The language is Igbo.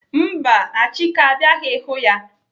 Mba, Achike abịaghị hụ ya.